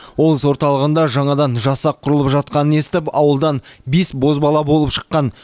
облыс орталығында жаңадан жасақ құрылып жатқанын естіп ауылдан бес бозбала болып шыққан